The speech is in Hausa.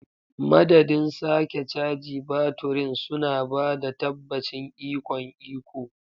Madadin sake caji baturin, suna ba da tabbacin ikon iko.